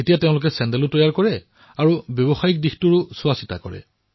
এতিয়া এওঁলোকে মিলি নিৰ্মাণো কৰে আৰু বিপণনো কৰে